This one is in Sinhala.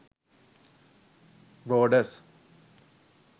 borders